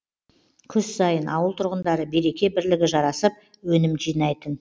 күз сайын ауыл тұрғындары береке бірлігі жарасып өнім жинайтын